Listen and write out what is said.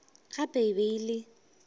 gape e be e le